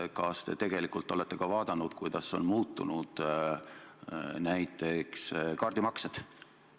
Ja kas te olete ka uurinud, kuidas on muutunud näiteks kaardimaksed?